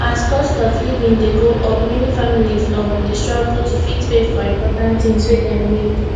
as cost of living dey go up many families um dey struggle to fit pay for important things wey dem need